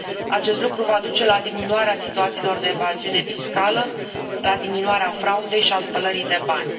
Acest lucru va duce la diminuarea situațiilor de evaziune fiscală, la diminuarea fraudei și a spălării de bani.